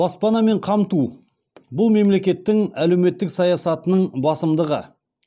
баспанамен қамту бұл мемлекеттің әлеуметтік саясатының басымдығы